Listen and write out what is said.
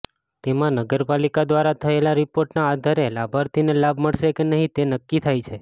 તેમાં નગરપાલિકા દ્વારા થયેલા રિપોર્ટના આધારે લાભાર્થીને લાભ મળશે કે નહીં તે નક્કી થાય છે